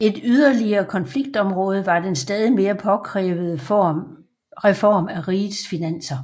Et yderligere konfliktområde var den stadig mere påkrævede reform af rigets finanser